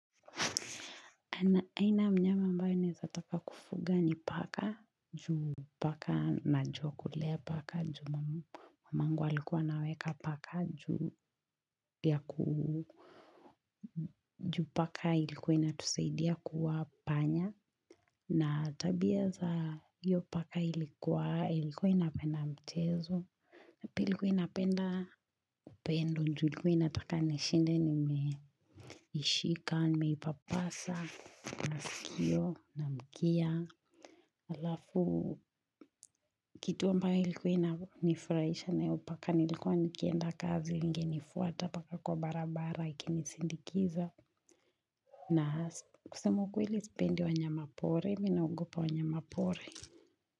Aina ya mnyama ambaye naezataka kufuga ni paka, juu paka najua kulea paka, juu mamangu alikuwa anaweka paka juu ya ku. Juu paka ilikuwa inatusaidia kuua panya na tabia za hiyo paka ilikuwa ilikuwa inapenda mchezo. Pili ilikuwa inapenda upendo, juu ilikuwa inataka nishinde nimeishika, nimeipapasa masikio na mkia Alafu, kitu ambayo ilikuwa inanifurahisha na hiyo paka, ni ilikuwa nikienda kazi ingenifuata mpaka kwa barabara ikinisindikiza. Na kusema ukweli sipendi wanyama pori, mimi naogopa wanyama pori.